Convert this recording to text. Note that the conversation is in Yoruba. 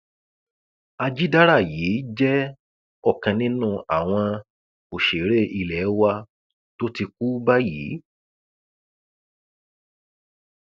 àjìdára yìí jẹ ọkan nínú àwọn òṣèré ilé wa tó ti kú báyìí